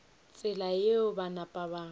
tsela yeo ba napa ba